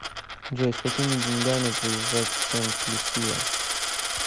джой с какими деньгами приезжать в сент люсия